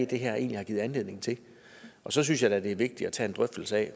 det her egentlig har givet anledning til og så synes jeg da at det er vigtigt at tage en drøftelse af